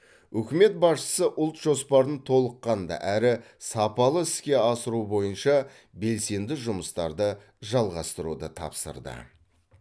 үкімет басшысы ұлт жоспарын толыққанды әрі сапалы іске асыру бойынша белсенді жұмыстарды жалғастыруды тапсырды